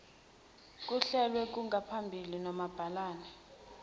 kuhlelwe kusengaphambili nomabhalane